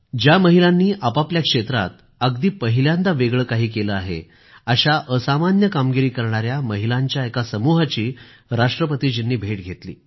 ज्या महिलांनी आपआपल्या क्षेत्रात अगदी पहिल्यांदा वेगळं काही केलं आहे अशा असामान्य कामगिरी करणाऱ्या महिलांच्या एका समुहाची राष्ट्रपतीजींनी भेट घेतली